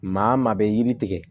Maa maa bɛ yiri tigɛ